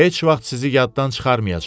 Heç vaxt sizi yaddan çıxarmayacam.